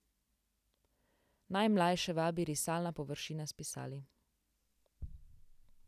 Najmlajše vabi risalna površina s pisali.